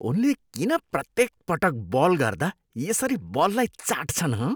उनले किन प्रत्येक पटक बल गर्दा यसरी बललाई चाट्छन् हँ ?